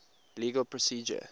legal procedure